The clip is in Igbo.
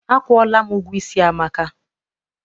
Akwụọla m ụgwọ isi Amaka.